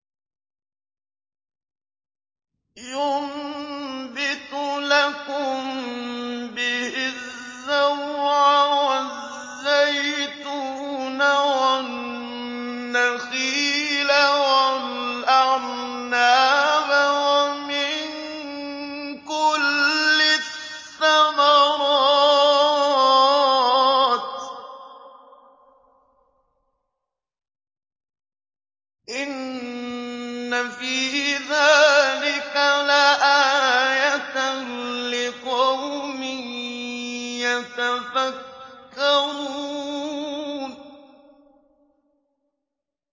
يُنبِتُ لَكُم بِهِ الزَّرْعَ وَالزَّيْتُونَ وَالنَّخِيلَ وَالْأَعْنَابَ وَمِن كُلِّ الثَّمَرَاتِ ۗ إِنَّ فِي ذَٰلِكَ لَآيَةً لِّقَوْمٍ يَتَفَكَّرُونَ